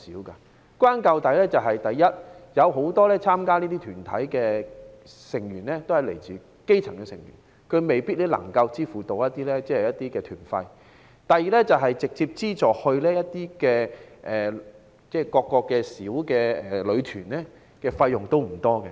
歸根究底是，首先，很多參加這些團體的成員是來自基層，他們未必能夠支付團費；其次，當局直接資助到各個小旅團的費用不多。